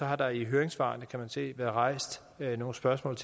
har der i høringssvarene kan man se været rejst nogle spørgsmål